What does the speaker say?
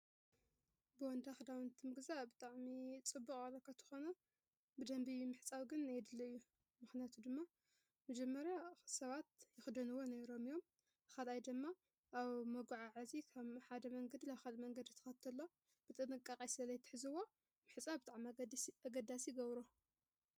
ቦንዳ ክዳውንቲ ምግዛእ ብጥዕሚ ፅቡቕ እኳ እንተኮነ፣ ብደንቢ ምሕፃብ ግን የድሊ እዩ። ምክንያቱ ድማ መጀመርያ ሰባት ይክደንዎ ነይሮም እዮም ካልኣይ ደማ ኣብ መጓዓዓዚ ካብ ሓደ መንገዲ ናብ ካልእ መንገድ ተኸድተሎ ብጥንቃ ቐ ስለ ዘይሕዝዎ ምሕፃብ ብጣዕሚ ኣገዳሲ ይገብሮ።